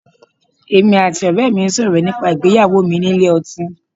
Èmi àti ọ̀rẹ́ẹ mi sọ̀rọ̀ nípa ìgbéyàwó mi nílé ọtín.